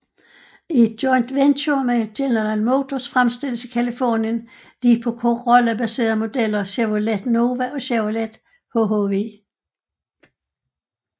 I et joint venture med General Motors fremstilles i Californien de på Corolla baserede modeller Chevrolet Nova og Chevrolet hhv